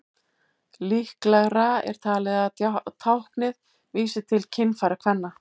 Líklegra er talið að táknið vísi til kynfæra kvenna.